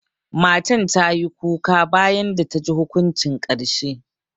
Matan ta yi kuka bayan da ta ji hukuncin karshe.